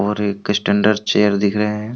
और एक standard chair दिख रहे हैं।